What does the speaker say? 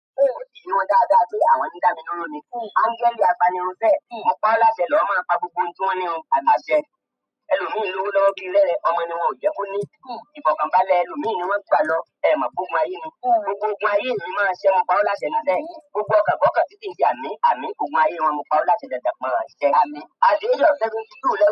Oò tí ì rí wọn dáadáa tó àwọn tí ń dá mi dúró ni. Ángẹ́lì apanirun sẹ́ ẹ̀, mo paá láṣẹ lọ̀ọ́ máa pa gbogbo ohun tí wọ́n ní run àmín àṣẹ. Ẹlòmíì lówó lọ́wọ́ bíi rẹ́rẹ, ọmọ ni wọn ò jẹ́ kó ní. Ìfọ̀kàn balẹ̀ ẹ, ẹlòmíì ni wọ́n gbà lọ. Ẹẹ̀ mọ̀ pógun ayé ni, gbogbo ogun ayé è mi máa ṣẹ́, mo pa ọ́ láṣẹ ni sẹ́ẹ̀. Gbogbo ọkàn kọ́kàn tí sì ń ṣe àmín, àmín, ogun ayé e wọn mo pa ó láṣẹ dandan máa ṣẹ́. Àt the age of seventy two lẹ.